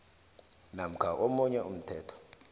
namkha omunye umthetho